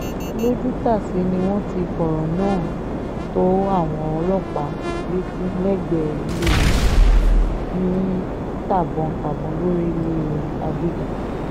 lójútàsé ni wọ́n ti fọ̀rọ̀ náà tó àwọn ọlọ́pàá létí lẹ́gbẹ̀ẹ́ ilé wọn ní tàbọn-tàbọn lọrílẹ̀ àgègè